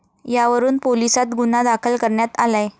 यावरून पोलिसांत गुन्हा दाखल करण्यात आलाय.